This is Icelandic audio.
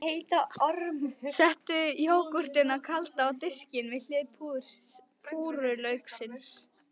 Settu jógúrtina kalda á diskinn, við hlið púrrulauksins.